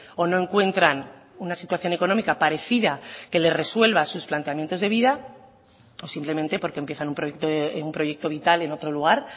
o no encuentran una situación económica parecida que le resuelva sus planteamientos de vida o simplemente porque empiezan un proyecto vital en otro lugar